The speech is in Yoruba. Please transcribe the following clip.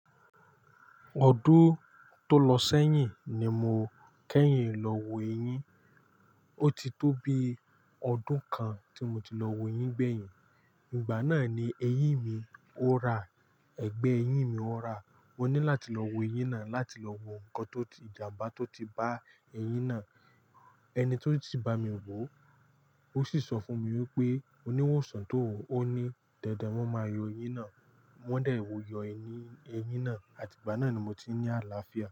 Ọdún tó lọ sẹ́yìn ni mo kẹ́yìn lọ wo eyín. Ó ti tó bi ọdún kan tí mo ti lọ wo eyín gbẹ̀yìn. Ìgbà náà ni eyín mi ó ra, ẹgbẹ́ eyín mi ó ra. Wọ́n ní láti lọ wo eyín náà láti lọ wo nǹkan tó ti ìjàmbá tó ti bá eyín náà. Ẹni tó ti bá mi wò ó sì sọ fún mi wípé oníwòsàn tó wò ó ní dandan won máa yọ eyín náà. Wọ́n de wò, yọ eyín, eyín náà àti ìgbà náà ni mo ti ní àlàáfíà.